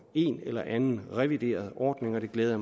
en eller anden revideret ordning og det glæder